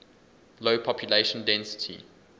low population density